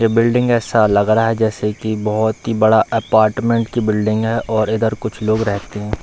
ये बिल्डिंग ऐसा लग रहा है जैसा की बहोत ही बड़ा अपार्टमेंट की बिल्डिंग है और इधर कुछ लोग रहते हैं।